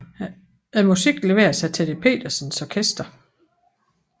Musikken leveres af Teddy Petersens orkester